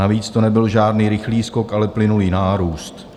Navíc to nebyl žádný rychlý skok, ale plynulý nárůst.